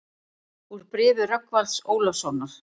Úr bréfi Rögnvalds Ólafssonar